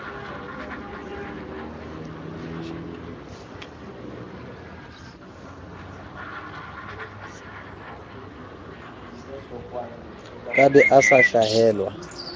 ka be a sa hlahelwa